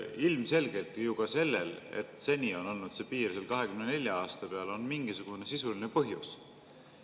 Ilmselgelt sellel, et seni on olnud see piir seal 24 aasta peal, on mingisugune sisuline põhjus.